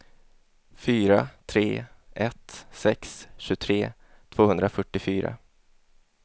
fyra tre ett sex tjugotre tvåhundrafyrtiofyra